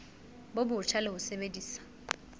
bo botjha le ho sebedisa